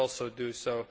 We should also do so.